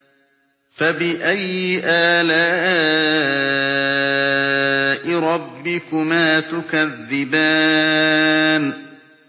فَبِأَيِّ آلَاءِ رَبِّكُمَا تُكَذِّبَانِ